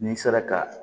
N'i sera ka